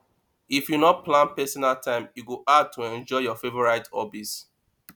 if you no plan personal time e go hard to enjoy your favorite hobbies